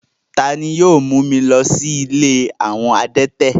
Tani yio mu mi lọ si ìlé awọn adẹ̀tẹ̀?